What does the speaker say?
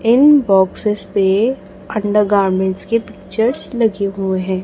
इन boxes पे under garments के pictures लगे हुए हैं।